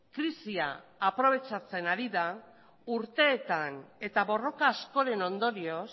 krisia aprobetxatzen ari da urteetan eta borroka askoren ondorioz